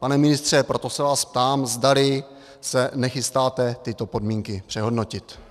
Pane ministře, proto se vás ptám, zdali se nechystáte tyto podmínky přehodnotit.